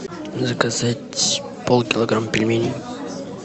заказать пол килограмма пельменей